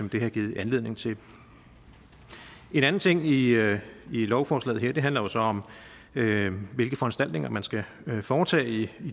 det har givet anledning til en anden ting i lovforslaget her handler jo så om hvilke foranstaltninger man skal foretage i